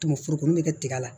Tumu foro min bɛ kɛ tiga la